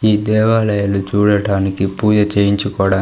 ఈ దేవాలయాలు చూడడానికి పూజ చేయించుకోవడా--